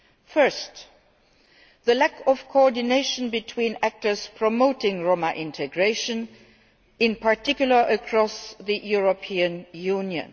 First, the lack of coordination between actors promoting Roma integration, in particular across the European Union.